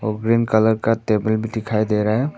Green colour का table भी दिखाई दे रहा है।